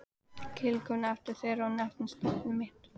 Tiltók efni þeirra og nefndi nafn þitt.